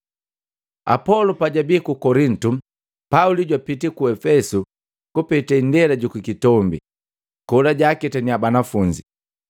Apolo pajabii ku Ukolintu, Pauli jwapiti ku Epesu kupete ndela juku hitombi. Kola jaaketania banafunzi.